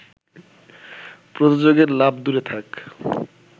প্রযোজকের লাভ দূরে থাক